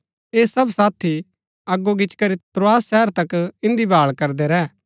ऐह सब साथी अगो गिचीकरी त्रोआस शहर तक इन्दी भाळ करदै रैह